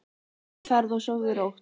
Góða ferð og sofðu rótt.